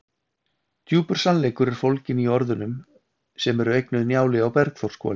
Djúpur sannleikur er fólginn í orðunum sem eru eignuð Njáli á Bergþórshvoli.